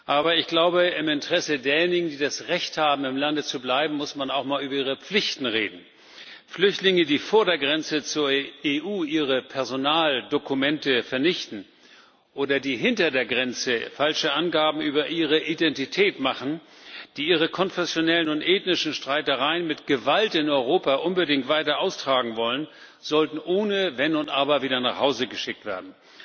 Aber im Interesse derjenigen, die das Recht haben, im Lande zu bleiben, muss man auch einmal über ihre Pflichten reden. Flüchtlinge, die vor der Grenze zur EU ihre Personaldokumente vernichten oder die hinter der Grenze falsche Angaben über ihre Identität machen, die ihre konfessionellen und ethnischen Streitereien mit Gewalt in Europa unbedingt weiter austragen wollen, sollten ohne Wenn und Aber wieder nach Hause geschickt werden.